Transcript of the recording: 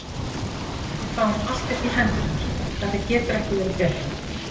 Við fáum allt upp í hendurnar, þetta getur ekki verið betra.